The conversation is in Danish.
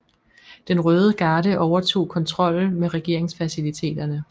Den Røde Garde overtog kontrollen med regeringsfaciliteterne